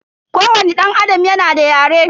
Kowani danAdam yana da yare.